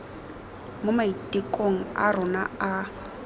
mo maitekong a rona a